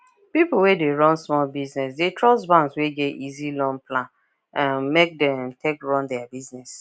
people wey dey run small business dey trust banks wey get easy loan plan um make them take run their business